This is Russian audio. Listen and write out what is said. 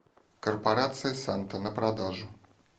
корпорация санта на продажу